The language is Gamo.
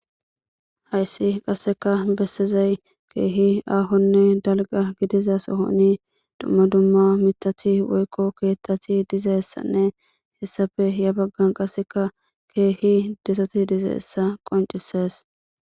Hayssi qasseka bessizay keehi aahonne dalga gidiza sohoni dumma dumma mitathi woykko keettathi dizeessanne hessafe ya baggan qasseka keehi detoti dizeessa qoncisees.